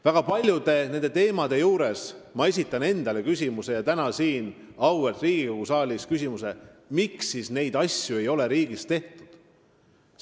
Väga paljude nende teemade juures esitan ma endale küsimuse, mille esitan ka täna siin auväärt Riigikogu saalis: miks siis ei ole neid asju riigis tehtud?